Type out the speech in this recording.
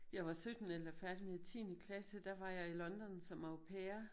Jeg var 17 eller færdig med tiende klasse der var jeg i London som au pair